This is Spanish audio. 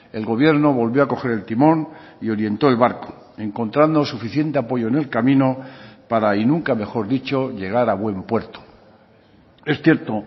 el gobierno volvió a coger el timón y orientó el barco encontrando suficiente apoyo en el camino para y nunca mejor dicho llegar a buen puerto es cierto